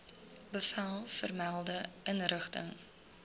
bevel vermelde inrigting